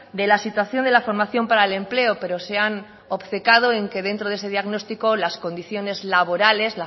de la situación de la formación para el empleo pero se han obcecado en que dentro de ese diagnóstico las condiciones laborales